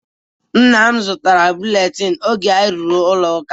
Nnam zụtara buletin oge anyị ruru na-ụlọ ụka.